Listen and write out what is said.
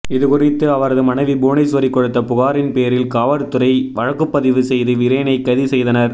இது குறித்து அவரது மனைவி புவனேஸ்வரி கொடுத்த புகாரின் பேரில் காவற்துறை வழக்குப்பதிவு செய்து விரேனை கைது செய்தனர்